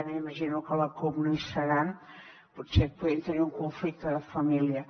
m’imagino que la cup no hi seran potser podrien tenir un conflicte de família